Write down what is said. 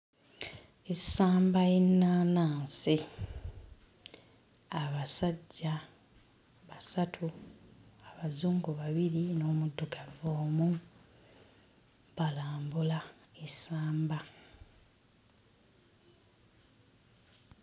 Essamba y'ennaanansi abasajja basatu abazungu babiri n'omuddugavu omu balambula essamba.